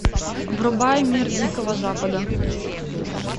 врубай мир дикого запада